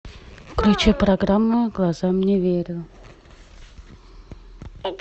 включи программу глазам не верю